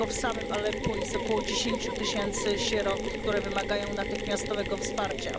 Tylko w samym Aleppo jest około 10 tysięcy sierot, które wymagają natychmiastowego wsparcia.